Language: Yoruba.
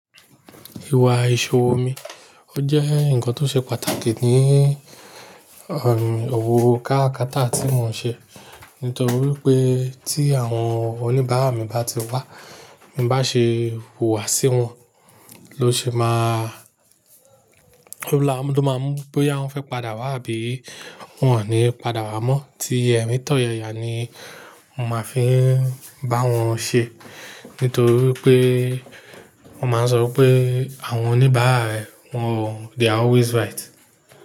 Ìwà ìṣòwò mi, ó jẹ́ nǹkan tó ṣe pàtàkì ni, òwò káàrakaata tí mo ń ṣe. Nítorí pé tí àwọn oníbàárà mi bá ti wá, bin bá ṣe wùwà sí wọn, ló ṣe má, lọ́la lo máa mú bóyá wọ́n fẹ́ padà wá àbí wọ́n wà ní padà wá mọ́, tí ẹ̀rin tọ̀yayà ni mo máa fi ń bá wọn ṣe. Nítorí pé wọ́n máa ń sọ pé àwọn oníbàárà ẹ, wọ́n, they are always right.